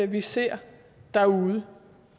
vi ser derude